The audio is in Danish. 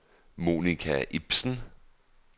Monica Ipsen